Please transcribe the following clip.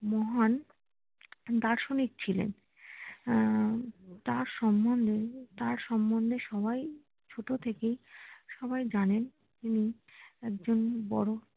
মহান দার্শনিক ছিলেন হম তার সম্বন্ধে তার সম্বন্ধে সবাই ছোট থেকেই সবাই জানেন তিনি একজন বড়